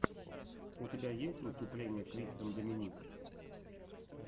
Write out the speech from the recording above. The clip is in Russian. у тебя есть выступление кристен доминик